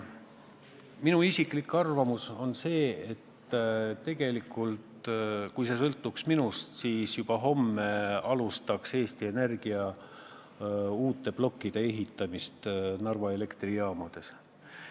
Minu isiklik arvamus on see, et kui see sõltuks minust, siis juba homme alustaks Eesti Energia uute plokkide ehitamist Narva Elektrijaamades.